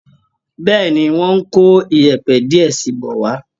Bẹ́ẹ̀ ni, wọ́n ń kó yẹ̀ẹ̀pẹ̀ díẹ̀ sí i bọ̀ wá